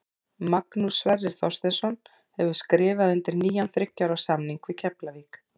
Magnús Sverrir Þorsteinsson hefur skrifað undir nýjan þriggja ára samning við Keflavík.